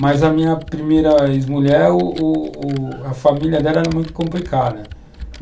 Mas a minha primeira ex-mulher, o o a família dela era muito complicada.